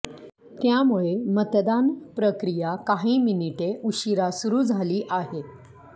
त्यामुळे मतदान प्रक्रिया काही मिनिटे उशिरा सुरू झाली आहे